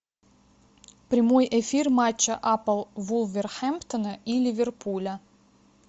прямой эфир матча апл вулверхэмптона и ливерпуля